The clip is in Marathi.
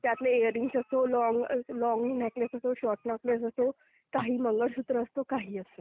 त्यातले इअर रिंग असो, लॉंग... लॉंग नेकलेस असो, शॉर्ट नेकलेस असो, काही मंगळसूत्र असो, काही असो.